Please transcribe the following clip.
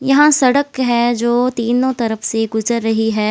यहाँ सड़क है जो तीनों तरफ से गुजर रही है।